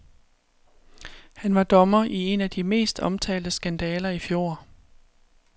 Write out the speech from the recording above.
Han var dommer i en af de mest omtalte skandaler i fjor.